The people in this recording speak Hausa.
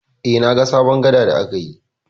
Eh, na ga sabon gada da aka yi.